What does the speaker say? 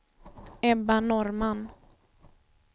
Ebba Norrman